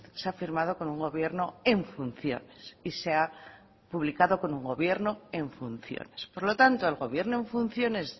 se ha firmado con un gobierno en funciones y se ha publicado con un gobierno en funciones por lo tanto el gobierno en funciones